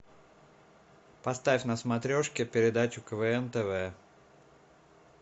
поставь на смотрешке передачу квн тв